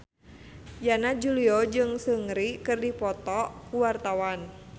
Yana Julio jeung Seungri keur dipoto ku wartawan